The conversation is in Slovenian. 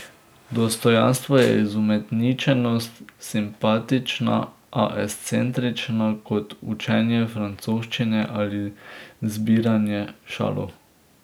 Dostojanstvo je izumetničenost, simpatična, a ekscentrična, kot učenje francoščine ali zbiranje šalov.